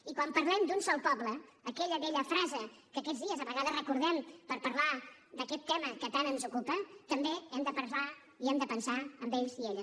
i quan parlem d’un sol poble aquella vella frase que aquests dies a vegades recordem per parlar d’aquest tema que tant ens ocupa també hem de parlar i hem de pensar en ells i elles